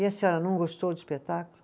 E a senhora, não gostou do espetáculo?